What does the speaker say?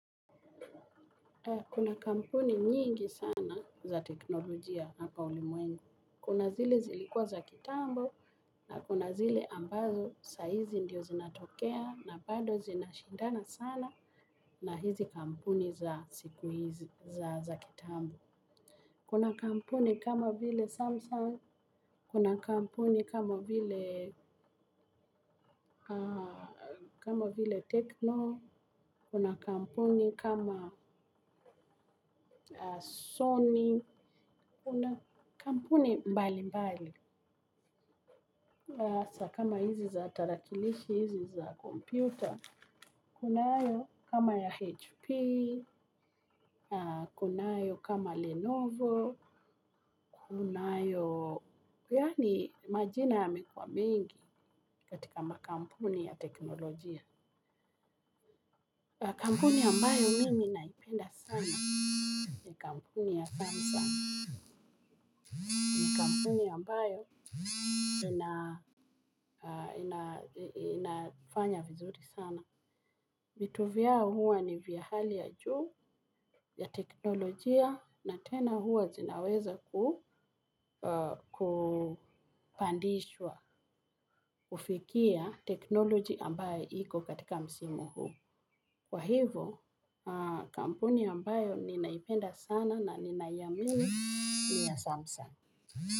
Kuna kampuni nyingi sana za teknolojia hapa ulimwengu. Kuna zile zilikua za kitambo na kuna zile ambazo saizi ndio zinatokea na bado zinashindana sana na hizi kampuni za siku hizi za za kitambo. Kuna kampuni kama vile Samsung, kuna kampuni kama vile Techno, kuna kampuni kama Sony, kuna kampuni mbali mbali. Sa kama hizi za tarakilishi, hizi za kompyuta, kunayo kama ya HP, kunayo kama Lenovo, kunayo, yaani majina yamekua mengi katika makampuni ya teknolojia. Kampuni ambayo mimi naipenda sana ya kampuni ya Samsung. Ni kampuni ambayo inafanya vizuri sana. Vitu vyao huwa ni vya hali ya juu ya teknolojia na tena huwa zinaweza kupandishwa ufikia teknology ambaye iko katika msimu huu. Kwa hivo kampuni ambayo ninaipenda sana na ninaiamini ni ya samsung.